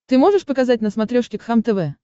ты можешь показать на смотрешке кхлм тв